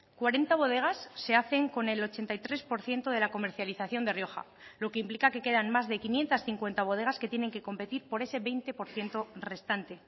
cuarenta bodegas se hacen con el ochenta y tres por ciento de la comercialización de rioja lo que implica que quedan más de quinientos cincuenta bodegas que tienen que competir por ese veinte por ciento restante